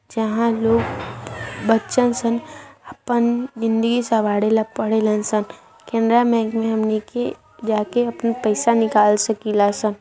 जहाँ लोग बच्चा शन आपन भिद्नी सवार लेने परे र सन केनरा बैंक में हमनी के जाके आपन पैसा निकल सकीला सन।